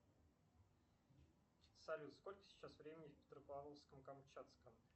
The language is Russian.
салют сколько сейчас времени в петропавловске камчатском